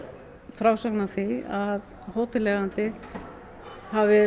frásögn af því að hóteleigandi hafi